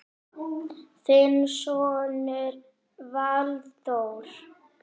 Þinn sonur Valþór.